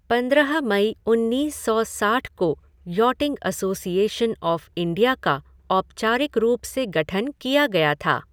पंद्रह मई उन्नीस सौ साठ को यॉटिंग एसोसिएशन ऑफ़ इंडिया का औपचारिक रूप से गठन किया गया था।